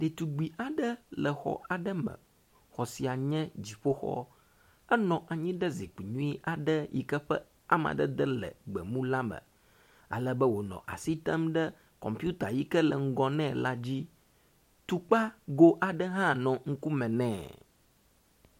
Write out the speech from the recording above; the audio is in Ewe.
Ɖetugb aɖe le xɔ aɖe me. Xɔ si anye dziƒoxɔ. Enɔ anyi ɖe zikpui nyui aɖe yi ke ƒe amadede le gbemu la me. Ale be wonɔ asi tem ɖe kɔmpita yi ke le ŋgɔ ne la dzi. Tukpago aɖe hã nɔ ŋkume nɛ.